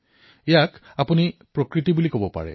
ইয়াক আমি প্ৰকৃতি বুলি কব পাৰো